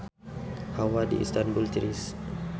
Hawa di Istanbul tiris